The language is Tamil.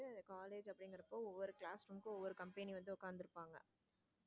College அப்படிங்கறப்ப ஒவ்வொரு class ஒவ்வொரு company வந்து உட்கார்ந்து இருப்பாங்க.